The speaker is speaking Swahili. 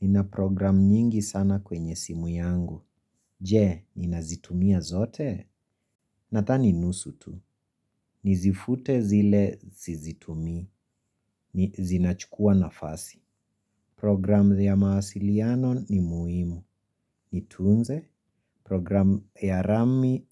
Nina program nyingi sana kwenye simu yangu. Je, ninazitumia zote? Nadhani nusu tu. Nizifute zile sizitumii. Zinachukua nafasi. Program ya mawasiliano ni muhimu. Nitunze? Program